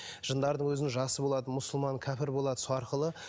жындардың өзінің жасы болады мұсылман кәпір болады сол арқылы